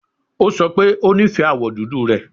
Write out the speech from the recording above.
O sọ pe o nifẹ awọ dudu rẹ